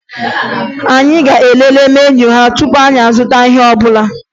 Anyị ga-elele meniu ha tupu anyị azụta ihe ọbụla